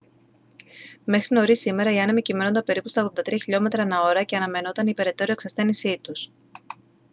μέχρι νωρίς σήμερα οι άνεμοι κυμαίνονταν περίπου στα 83 χλμ/ ώρα και αναμενόταν η περαιτέρω εξασθένισή τους